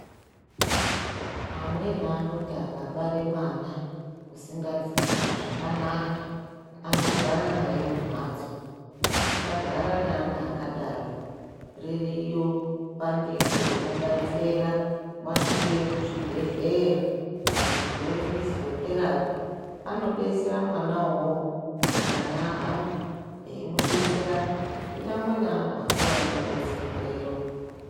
Amweni anoti akabare mwana usingazi kuite zvakanaka, anogara naye mumhatso. Musagara neana akadaro. Ririyo bandiko rinobetsera, wasvikeyo kuzvibhedhleya, bandiko refiziyotherapi anodetsera mwana uwowo pakana ahamba, eimudetsera. Kunyangwe neanhu akuru anobetserweyo.